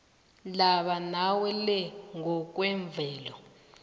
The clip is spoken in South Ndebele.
laba mawele ngokwemvelo